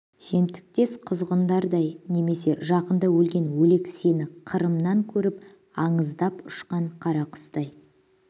жемтіктес құзғындардай немесе жақында өлген өлек сені қырымнан көріп андыздап ұшқан қарақұстай